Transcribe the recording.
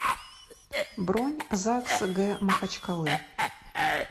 бронь загс г махачкалы